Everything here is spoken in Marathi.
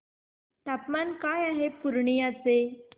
तापमान काय आहे पूर्णिया चे